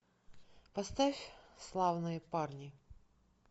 поставь славные парни